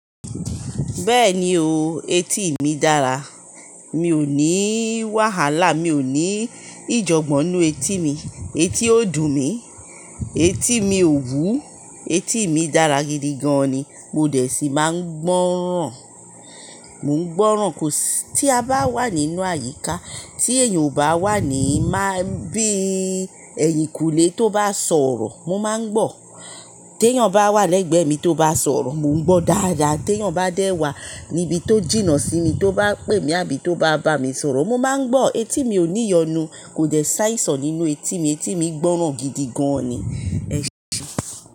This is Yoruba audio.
Bẹ́ẹ̀ni o, etí mi dára. Mi ò ní wàhálà, mi ò ní ìjọ̀gbọ̀n nínú etí mi. Etí ó dùn mí, etí mi ò wú, etí mi dára gidi gan ni. Mo dẹ̀ sí máa ń gbọ́ràn. Mò ń gbọ́ràn tí a bá wà nínú àyíká, tí èèyàn o bá wà ní máa-- bí ẹ̀yìnkùlé tó bá sọ̀rọ̀ mo máa ń gbọ́. Tí èèyàn bá wà lẹ́gbẹ̀ẹ́ mi tó bá sọ̀rọ̀ mo ń gbọ́ dáadáa. Tí èèyàn bá dé wà níbi tó jìnnà sí mi tó bá pè mí àbí tó bá bá mi sọ̀rọ̀ mo máa ń gbọ́. Etí mi ò ní yonu, kò dẹ̀ ṣàìsàn nínú etí mi. Etí mi gbọ́ràn gidi gan ni. Ẹ ṣé.